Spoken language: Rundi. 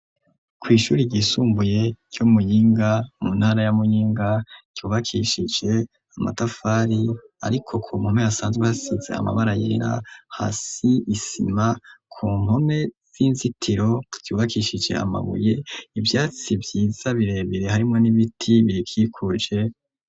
Kw'ishuri ryisumbuye co muyinga mu ntara y'amuyinga cyubakishije amatafari ariko ku npome asanzwe basitze amabara yerera hasi isima ku npome z'inzitiro byubakishije amabuye ibyatsi byiza birebire harimo n'ibiti biyikikuje.